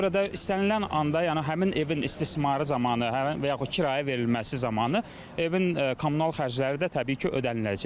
Ona görə də istənilən anda, yəni həmin evin istismarı zamanı, və yaxud kirayə verilməsi zamanı evin kommunal xərcləri də təbii ki, ödəniləcək.